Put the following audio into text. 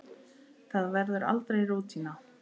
Það verður aldrei rútína.